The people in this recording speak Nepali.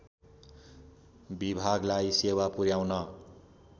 विभागलाई सेवा पुर्‍याउन